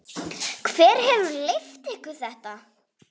Hver hefur leyft ykkur þetta?